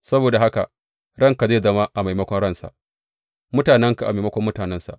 Saboda haka ranka zai zama a maimakon ransa, mutanenka a maimakon mutanensa.’